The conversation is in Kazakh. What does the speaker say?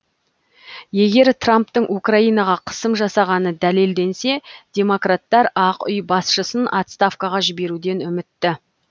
егер трамптың украинаға қысым жасағаны дәлелденсе демократтар ақ үй басшысын отставкаға жіберуден үмітті